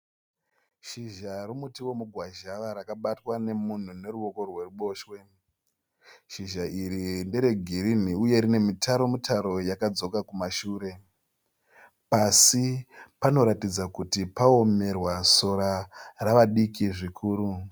Shizha remuti wemugwazhava rakabatva nemunhu neruwoko rweruboshwe. Shizha iri ndere girinhi uye rine mitaro mitaro yakadzoka kumashure. Pasi panoratidza kuti pawomerwa sora rave diki zvikuru.